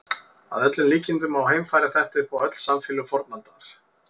Að öllum líkindum má heimfæra þetta upp á öll samfélög fornaldar.